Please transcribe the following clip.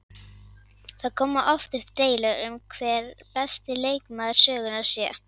Það koma oft upp deilur um það hver besti leikmaður sögunnar sé.